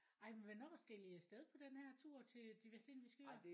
Ej men hvornår skal I af sted på den her tur til De Vestindiske Øer?